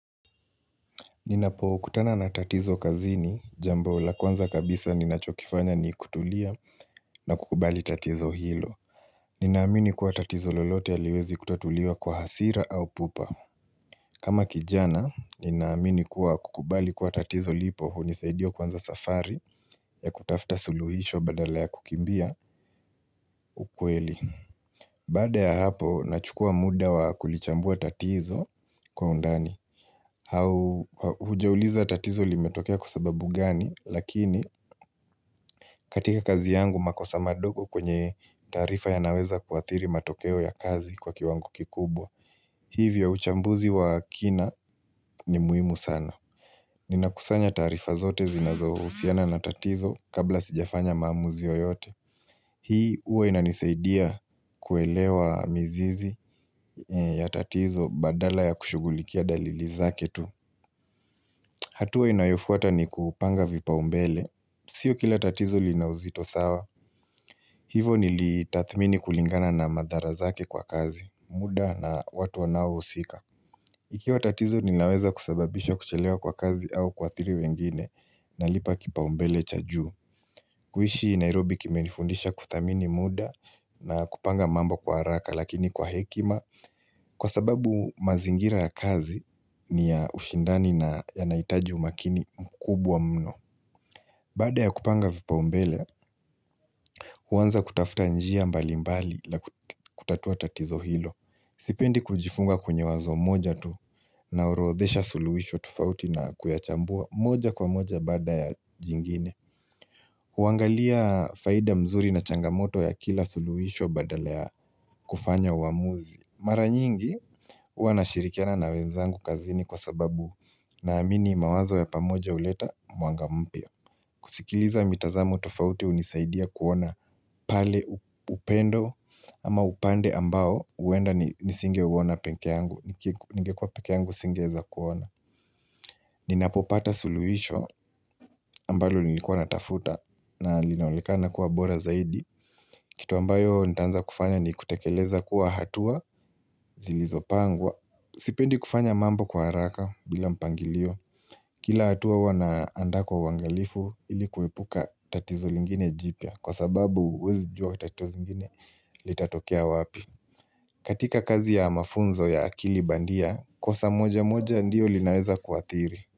Ninapokutana na tatizo kazini, jambo la kwanza kabisa ninachokifanya ni kutulia na kukubali tatizo hilo. Ninaamini kuwa tatizo lolote haliwezi kutatulia kwa hasira au pupa. Kama kijana, ninaamini kuwa kukubali kuwa tatizo lipo hunisaidia kuanza safari ya kutafuta suluhisho badala ya kukimbia ukweli. Baada ya hapo, nachukua muda wa kulichambua tatizo kwa undani. Au hujauliza tatizo limetokea kwa sababu gani lakini katika kazi yangu makosa madogo kwenye tarifa yanaweza kuadhiri matokeo ya kazi kwa kiwango kikubwa hivyo uchambuzi wa kina ni muhimu sana ninakusanya tarifa zote zinazohusiana na tatizo kabla sijafanya maamuzi yoyote hii huwa inanisaidia kuelewa mizizi ya tatizo badala ya kushughulikia dalili zake tu hatua inayofuata ni kupanga vipaumbele. Sio kila tatizo liinauzito sawa. Hivo nilitadhmini kulingana na madhara zake kwa kazi. Muda na watu wanao husika. Ikiwa tatizo ninaweza kusababisha kuchelewa kwa kazi au kuadhiri wengine. Nalipa kipaumbele cha juu. Kuishi Nairobi kimenifundisha kudhamini muda na kupanga mambo kwa haraka lakini kwa hekima Kwa sababu mazingira ya kazi ni ya ushindani na yanahitaji umakini mkubwa mno Baada ya kupanga vipaumbele, huanza kutafuta njia mbalimbali la kutatua tatizo hilo Sipendi kujifunga kwenye wazo moja tu naorodhesha suluhisho tufauti na kuyachambua moja kwa moja baada ya jingine huangalia faida mzuri na changamoto ya kila suluhisho badala kufanya uamuzi Mara nyingi huwa nashirikiana na wenzangu kazini kwa sababu naamini mawazo ya pamoja huleta mwanga mpya kusikiliza mitazamo tofauti hunisaidia kuona pale upendo ama upande ambao huenda nisingeuona peke yangu ningekuwa peke yangu singeweza kuona Ninapopata suluhisho ambalo nilikuwa natafuta na linaonekana kuwa bora zaidi kitu ambayo nitanza kufanya ni kutekeleza kuwa hatua zilizopangwa Sipendi kufanya mambo kwa haraka bila mpangilio Kila hatua huwa naandaa kwa uangalifu ili kuepuka tatizo lingine jipya Kwa sababu huwezi jua tatizo zingine litatokea wapi katika kazi ya mafunzo ya akili bandia, kosa moja moja ndio linaweza kuadhiri.